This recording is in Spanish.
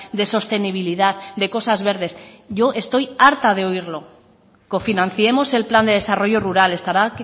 de sostenibilidad de cosas verdes yo estoy harta de oírlo cofinanciemos el plan de desarrollo rural estará